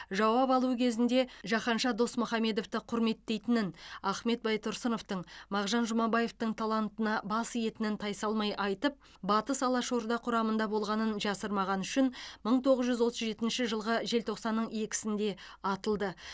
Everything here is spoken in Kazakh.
жауап алу кезінде жаһанша досмұхамедовты құрметтейтінін ахмет байтұрсыновтың мағжан жұмабаевтың талантына бас иетінін тайсалмай айтып батыс алашорда құрамында болғанын жасырмағаны үшін мың тоғыз жүз отыз жетінші жылғы желтоқсанның екісінде атылды